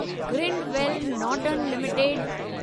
Grindwell Norton limited